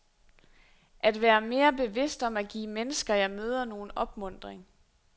At være mere bevidst om at give mennesker, jeg møder, nogen opmuntring.